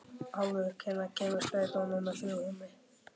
Álfur, hvenær kemur strætó númer þrjú?